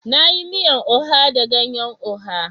Na yi miyan oha da ganyan oha.